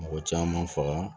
Mɔgɔ caman faga